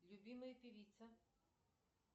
любимая певица